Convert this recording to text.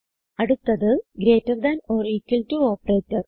അടുത്തത് greater than or equal to operator